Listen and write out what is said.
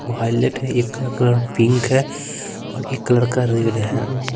वो हाईलाइट है एक कलर क कलर पिंक है और एक कलर का रेड है।